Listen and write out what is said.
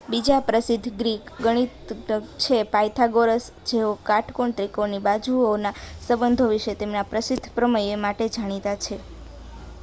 બીજા પ્રસિદ્ધ ગ્રીક ગણિતજ્ઞ છે પાયથાગોરસ જેઓ કાટકોણ ત્રિકોણોની બાજુઓના સંબંધો વિશે તેમના પ્રસિદ્ધ પ્રમેય માટે જાણીતા છે